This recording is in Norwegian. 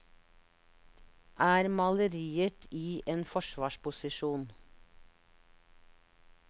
Er maleriet i en forsvarsposisjon?